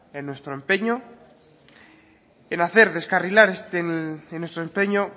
en nuestro empeño